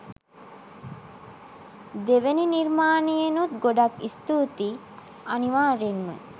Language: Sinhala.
දෙවෙනි නිර්මානයෙනුත් ගොඩක් ස්තුතියි අනිවාර්යෙන්ම